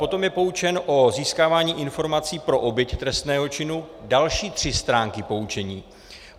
Potom je poučen o získávání informací pro oběť trestného činu - další tři stránky poučení.